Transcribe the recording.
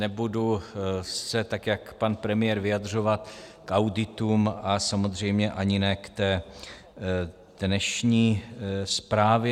Nebudu se, tak jako pan premiér, vyjadřovat k auditům a samozřejmě ani ne k té dnešní zprávě.